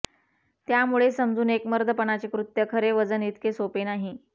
त्यामुळे समजून एक मर्दपणाचे कृत्य खरे वजन इतके सोपे नाही